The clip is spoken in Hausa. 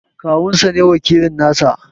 Kawun sa ne wakilin nasa.